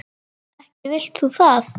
Ekki vilt þú það?